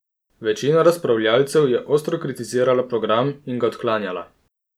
Večina razpravljavcev je ostro kritizirala program in ga odklanjala.